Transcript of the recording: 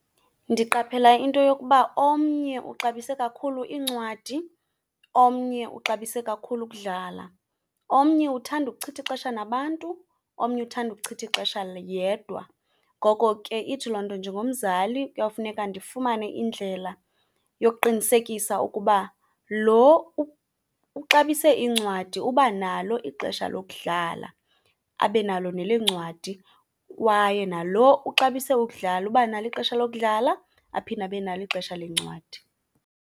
Ndiqaphela into yokuba omnye uxabise kakhulu iincwadi, omnye uxabise kakhulu ukudlala. Omnye uthanda ukuchitha ixesha nabantu, omnye uthada ukuchitha ixesha yedwa. Ngoko ke ithi loo nto njengomzali kuyawufuneka ndifumane indlela yokuqinisekisa ukuba lo uxabise iincwadi uba nalo ixesha lokudlala abe nalo neleencwadi, kwaye nalo uxabise ukudlala uba nalo ixesha lokudlala aphinde abe nalo ixesha leencwadi.